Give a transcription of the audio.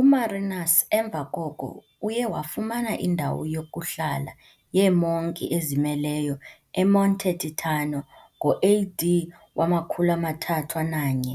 UMarinus emva koko uye wafumana indawo yokuhlala yeemonki ezimeleyo eMonte Titano ngo AD 301,